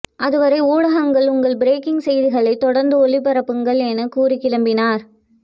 அதுவரை ஊடகங்கள் உங்கள் பிரேக்கிங் செய்திகளை தொடர்ந்து ஒளிபரப்புங்கள் என கூறி கிளம்பினார்